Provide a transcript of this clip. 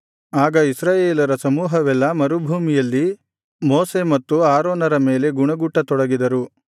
ಆಗ ಇಸ್ರಾಯೇಲರ ಸಮೂಹವೆಲ್ಲಾ ಮರುಭೂಮಿಯಲ್ಲಿ ಮೋಶೆ ಮತ್ತು ಆರೋನರ ಮೇಲೆ ಗುಣುಗುಟ್ಟತೊಡಗಿದರು